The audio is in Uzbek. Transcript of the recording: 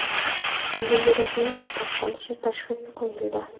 Unga yurakning to‘xtab qolishi tashhisi qo‘yildi.